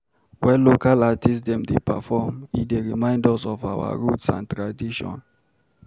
Wen local artist dem dey perform, e dey remind us of our roots and tradition.